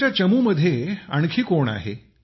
तुमच्या चमूमध्ये आणखी कोण आहे